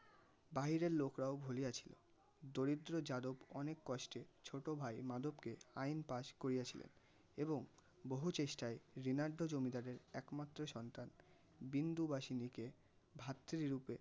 বাহিরের লোকরাও ভুলিয়া ছিল. দরিদ্র যাদব অনেক কষ্টে ছোটো ভাই মাধব কে আইন পাস করিয়াছিলেন. এবং বহু চেষ্টায় ঋণার্ধ জমিদারের একমাত্র সন্তান বিন্দুবাসিনি কে ভাত রুপে